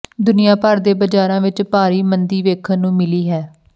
ਦੁਨੀਆਭਰ ਦੇ ਬਾਜ਼ਾਰਾਂ ਵਿੱਚ ਭਾਰੀ ਮੰਦੀ ਵੇਖਣ ਨੂੰ ਮਿਲੀ ਹੈ